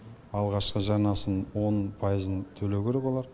алғашқы жарнасын он пайызын төлеу керек олар